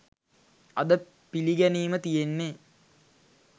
අද පිළිගැනීම තියෙන්නේ